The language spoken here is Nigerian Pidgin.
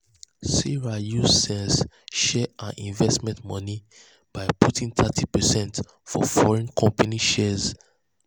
sarah use sense share her investment money by putting thirty percent for foreign company shares.